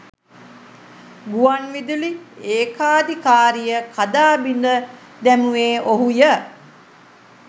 ගුවන් විදුලි ඒකාධිකාරිය කඩා බිද දැමුවේ ඔහුය